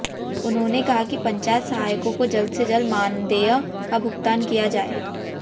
उन्होंने कहा कि पंचायत सहायकों को जल्द से जल्द मानदेय का भुगतान किया जाए